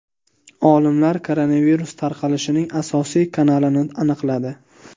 Olimlar koronavirus tarqalishining asosiy kanalini aniqladi.